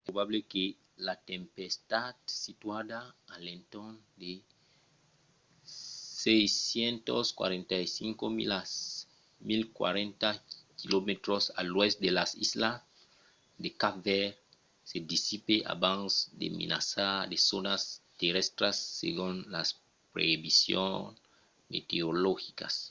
es probable que la tempèsta situada a l'entorn de 645 milas 1040 km a l'oèst de las islas de cap verd se dissipe abans de menaçar de zònas terrèstras segon las previsions meteorologicas